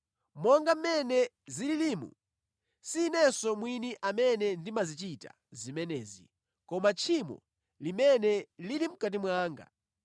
Monga mmene zililimu, si inenso mwini amene ndimazichita zimenezi, koma tchimo limene lili mʼkati mwanga.